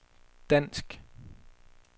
dansk